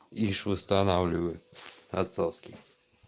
ишь устанавливаю от соски